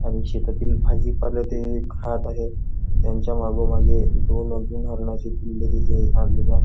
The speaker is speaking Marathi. आणि शेतातील भाजीपाल्यात एक जात आहे त्याच्या मागोमागे दोन हरणाची पिल्ले तिथे आणली जात आहेत.